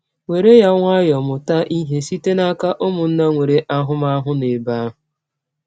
“ Were ya nwayọọ; mụta ihe site n’aka ụmụnna nwere ahụmahụ nọ n’ebe ahụ.